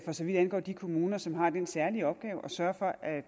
så vidt angår de kommuner som har den særlige opgave at sørge for at